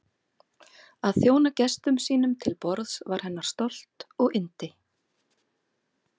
Að þjóna gestum sínum til borðs var hennar stolt og yndi.